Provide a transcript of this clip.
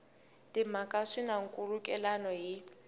timhaka swi na nkhulukelano hi